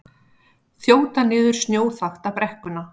Þjóta niður snjóþakta brekkuna